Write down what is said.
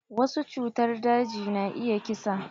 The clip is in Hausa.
Wasu cutar daji na iya ƙisa.